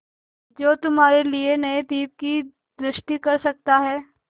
जो तुम्हारे लिए नए द्वीप की सृष्टि कर सकता है